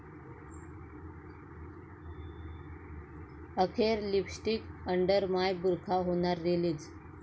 अखेर 'lipstick under my burkha' होणार release